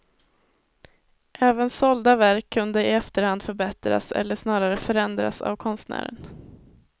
Även sålda verk kunde i efterhand förbättras, eller snarare förändras, av konstnären.